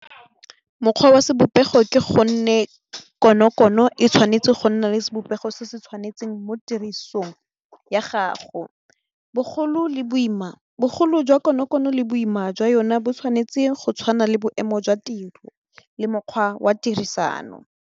Mokgwa wa sebopego ke gonne konokono e tshwanetse go nna le sebopego se se tshwanetseng mo tirisong ya gago bogolo jwa konokono le boima jwa yone bo tshwanetse go tshwana le boemo jwa tiro le mokgwa wa tirisano.